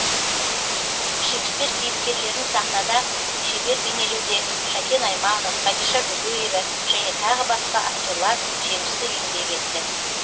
шекспир кейіпкерлерін сахнада шебер бейнелеуде шәкен айманов хадиша бөкеева және тағы басқа актерлар жемісті еңбек етті